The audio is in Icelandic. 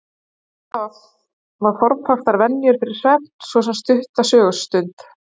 Gott er að hafa formfastar venjur fyrir svefn, svo sem stutta sögustund.